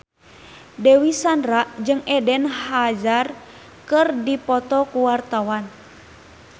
Dewi Sandra jeung Eden Hazard keur dipoto ku wartawan